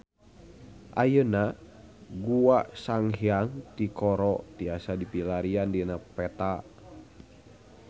Ayeuna Gua Sanghyang Tikoro tiasa dipilarian dina peta